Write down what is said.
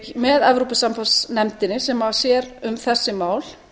með evrópusambandsnefndinni sem sér um þessi mál